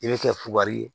I bɛ kɛ kuwari ye